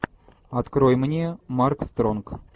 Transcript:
открой мне марк стронг